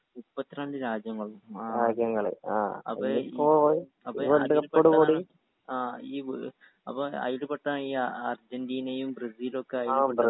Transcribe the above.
മുപ്പത്രണ്ട് രാജ്യങ്ങൾ അപ്പൊ അത് കൊണ്ടാണ് ആ ഈ അപ്പൊ അയിൽ പെട്ടതാണ് ഈ യ അർജന്റീനയും ബ്രസിലൊക്കെ അയിൽ പെട്ടതാ